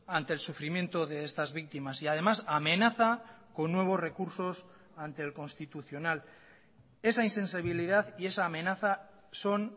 ante el sufrimiento de estas víctimas y además amenaza con nuevos recursos ante el constitucional esa insensibilidad y esa amenaza son